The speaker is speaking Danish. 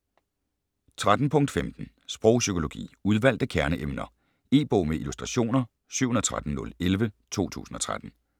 13.15 Sprogpsykologi: udvalgte kerneemner E-bog med illustrationer 713011 2013.